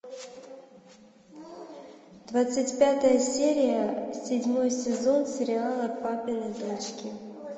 двадцать пятая серия седьмой сезон сериала папины дочки